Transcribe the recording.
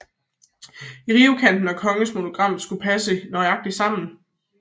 Rivekanten og kongens monogram skulle også passe nøjagtigt sammen